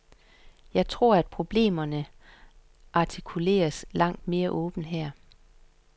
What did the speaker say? Jeg tror, at problemerne artikuleres langt mere åbent her.